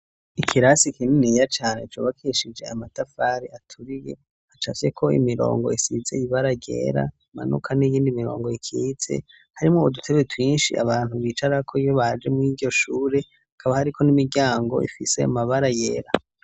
Ikirasi kininiya cane cubakishije amatafari aturiye hacafyeko ko imirongo isize ibara ryera imanuka n'iyindi mirongo ikiyitse, harimo udutebe twinshi abantu bicara ko iyo baje mu'iryoshure akaba hariko n'imiryango ifise mabara yera.